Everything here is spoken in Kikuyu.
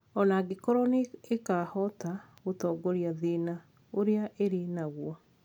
O na angĩkorũo nĩ ĩgakĩhota gũtooria thĩna ũrĩa ĩrĩ naguo,